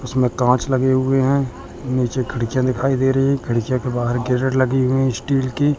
उसमें कांच लगे हुए हैं नीचे खिड़कियां दिखाई दे रही है खिड़कियां के बाहर कैरट लगी हुई स्टील की--